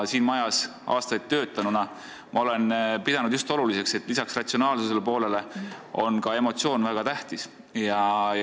Siin majas aastaid töötades olen ma pidanud just oluliseks, et lisaks ratsionaalsuse poolele oleksid ka emotsioonid, mis on väga tähtsad.